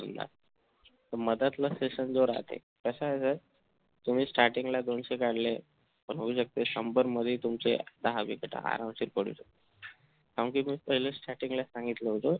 मधात ला session जो राहते कसं आहे त्याने starting ला दोनशे काढले तर होऊ शकते शंभर मध्ये तुमचे सहा wicket आराम शकतात कारण कि starting ला सांगितलं होत